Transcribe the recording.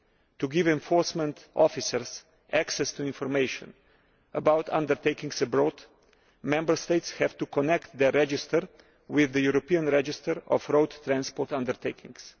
To give enforcement officers access to information about undertakings abroad, Member States have to connect their register with the European Register of Road Transport Undertakings.